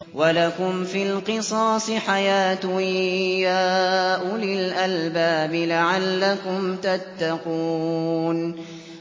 وَلَكُمْ فِي الْقِصَاصِ حَيَاةٌ يَا أُولِي الْأَلْبَابِ لَعَلَّكُمْ تَتَّقُونَ